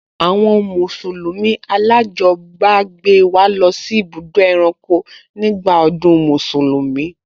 Àwọn mùsùlùmí alájọbágbé wa lọ sí ibùdó ẹranko nígbà ọdún Mùsùlùmí